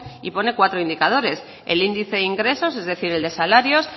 y pone cuatro indicadores el índice ingresos es decir el de salarios